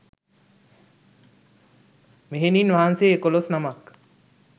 මෙහෙණින් වහන්සේ එකොළොස් නමක්